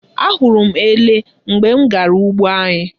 Ahụrụ m ele mgbe m gara ugbo anyị.